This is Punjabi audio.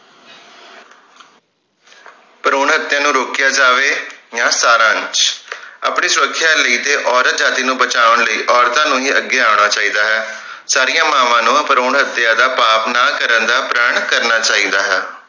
ਭਰੂਣ ਹਤਿਆ ਨੂੰ ਰੋਕਿਆ ਜਾਵੇ ਯਾ ਸਾਰਾਂਸ਼ ਆਪਣੀ ਸੁਰਖਿਆ ਲਈ ਤੇ ਔਰਤ ਜਾਤਿ ਨੂੰ ਬਚਾਉਣ ਲਈ ਔਰਤਾਂ ਨੂੰ ਹੀ ਅੱਗੇ ਆਉਣਾ ਚਾਹੀਦਾ ਹੈ ਸਾਰੀਆਂ ਮਾਵਾਂ ਨੂੰ ਭਰੂਣ ਹਤਿਆ ਦਾ ਪਾਪ ਨਾ ਕਰਨ ਦਾ ਪ੍ਰਣ ਕਰਨਾ ਚਾਹੀਦਾ ਹੈ